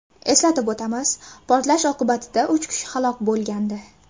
Eslatib o‘tamiz, portlash oqibatida uch kishi halok bo‘lgandi .